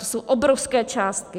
To jsou obrovské částky.